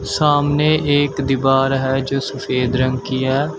सामने एक दीवार है जो सफेद रंग की है।